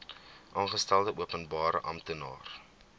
aangestelde openbare amptenaar